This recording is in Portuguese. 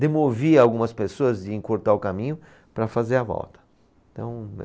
demovia algumas pessoas e encurtar o caminho para fazer a volta. Então